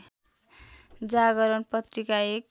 जागरण पत्रिका एक